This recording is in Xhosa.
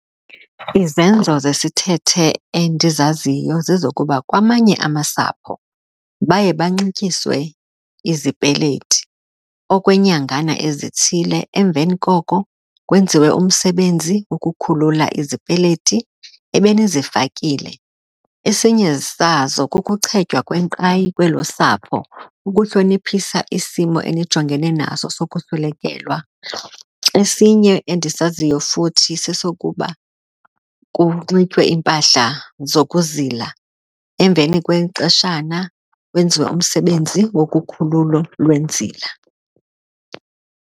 Izenzo zesithethe endizaziyo zezokuba kwamanye amasapho baye banxityiswe izipeletii okweenyangana ezithile emveni koko kwenziwe umsebenzi ukukhulula izipeleti ebenizifakile. Esinye sazo kukuchetywa kwenkqayi kwelo sapho ukuhloniphisa isimo enijongene naso sokuswelekelwa esinye, endisaziyo futhi sesokuba kunxitywe iimpahla zokuzila emveni kwexeshana kwenziwe umsebenzi wokukhululo lwenzila.